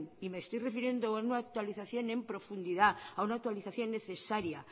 y me estoy refiriendo a una actualización en profundidad a una actualización necesaria